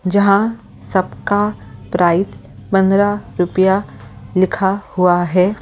जहां सबका प्राइस पंद्रह रुपया लिखा हुआ है ।